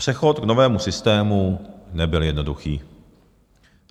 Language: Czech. Přechod k novému systému nebyl jednoduchý.